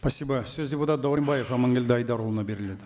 спасибо сөз депутат дәуренбаев аманкелді айдарұлына беріледі